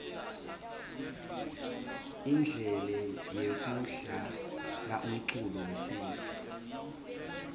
indlele yekudlalaumculo wesintfu